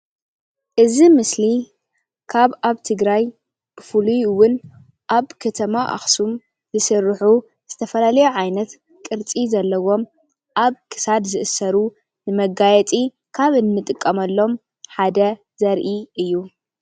እዚ ምስሊ ካብ ኣብ ትግራይ ብፍሉይ እዉን ኣብ ከተማ ኣክሱም ዝስርሑ ዝተፈላልዩ ዓይነት ቅርፂ ዘለዎም ኣብ ክሳድ ዝእሰሩ ንመጋየፂ ካብ እንጥቀመሎም ሓደ ዘርኢ እዩ።